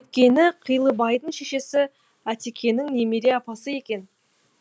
өйткені қилыбайдың шешесі әтекенің немере апасы екен